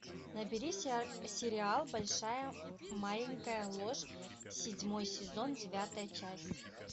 набери сериал большая маленькая ложь седьмой сезон девятая часть